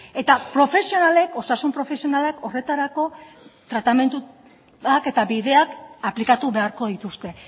eta profesionalek osasun profesionalak horretarako tratamenduak eta bideak aplikatu beharko dituzte